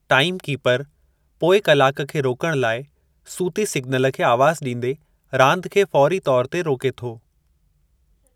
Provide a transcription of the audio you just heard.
Time keeper पोइ कलाकु खे रोकणु लाइ सूती सिगनल खे आवाज़ु ॾींदे रांदि खे फ़ौरी तौर ते रोके थो।